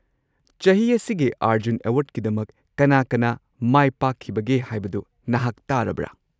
ꯆꯍꯤ ꯑꯁꯤꯒꯤ ꯑꯔꯖꯨꯟ ꯑꯦꯋꯥꯔꯗꯀꯤꯗꯃꯛ ꯀꯅꯥ-ꯀꯅꯥ ꯃꯥꯏꯄꯥꯛꯈꯤꯕꯒꯦ ꯍꯥꯢꯕꯗꯨ ꯅꯍꯥꯛ ꯇꯥꯔꯕꯔꯥ?